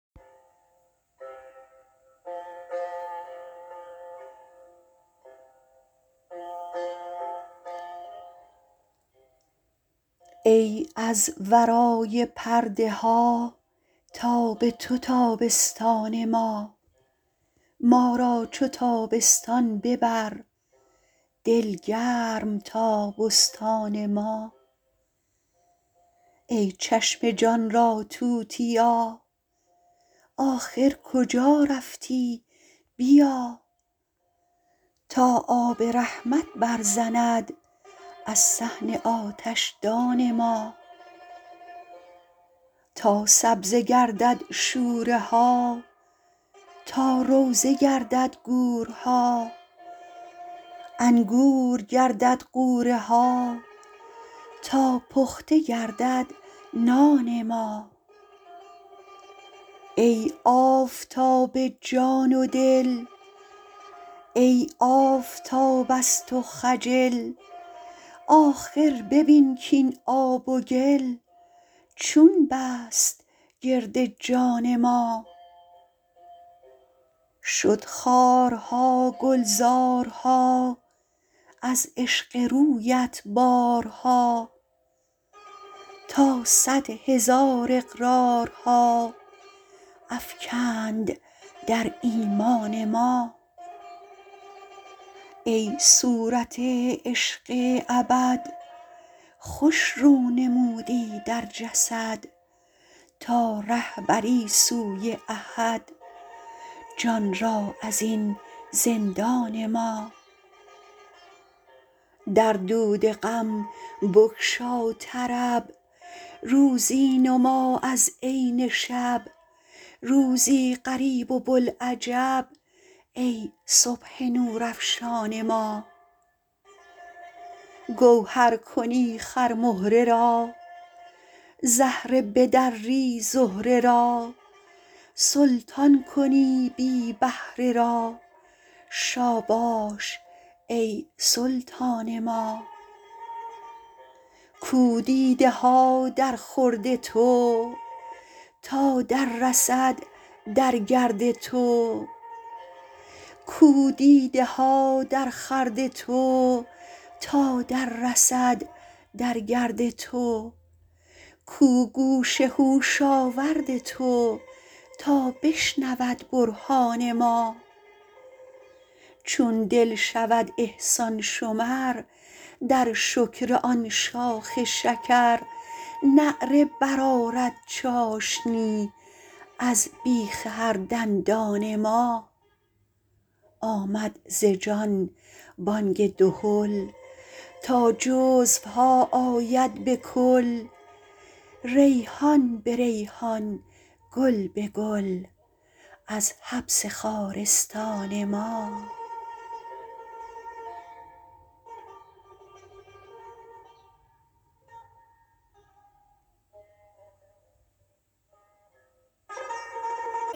ای از ورای پرده ها تاب تو تابستان ما ما را چو تابستان ببر دل گرم تا بستان ما ای چشم جان را توتیا آخر کجا رفتی بیا تا آب رحمت برزند از صحن آتشدان ما تا سبزه گردد شوره ها تا روضه گردد گورها انگور گردد غوره ها تا پخته گردد نان ما ای آفتاب جان و دل ای آفتاب از تو خجل آخر ببین کاین آب و گل چون بست گرد جان ما شد خارها گلزارها از عشق رویت بارها تا صد هزار اقرارها افکند در ایمان ما ای صورت عشق ابد خوش رو نمودی در جسد تا ره بری سوی احد جان را از این زندان ما در دود غم بگشا طرب روزی نما از عین شب روزی غریب و بوالعجب ای صبح نورافشان ما گوهر کنی خرمهره را زهره بدری زهره را سلطان کنی بی بهره را شاباش ای سلطان ما کو دیده ها درخورد تو تا دررسد در گرد تو کو گوش هوش آورد تو تا بشنود برهان ما چون دل شود احسان شمر در شکر آن شاخ شکر نعره برآرد چاشنی از بیخ هر دندان ما آمد ز جان بانگ دهل تا جزوها آید به کل ریحان به ریحان گل به گل از حبس خارستان ما